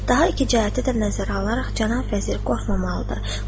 Daha iki cəhəti də nəzərə alaraq cənab vəzir qorxmamalıdır.